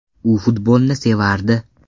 U futbolni sevardi.